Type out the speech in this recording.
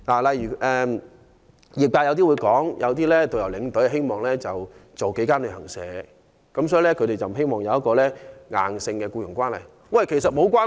例如有業界人士表示，有導遊及領隊希望接待數間旅行社的旅客，所以他們不希望有一個硬性的僱傭關係。